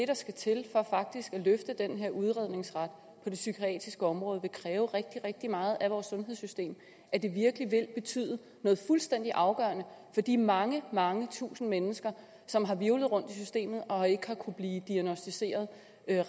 der skal til for faktisk at løfte den her udredningsret på det psykiatriske område vil kræve rigtig rigtig meget af vores sundhedssystem at det virkelig vil betyde noget fuldstændig afgørende for de mange mange tusinde mennesker som har hvirvlet rundt i systemet og ikke har kunnet blive diagnosticeret